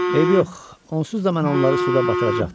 Eybi yox, onsuz da mən onları suda batıracaqdım.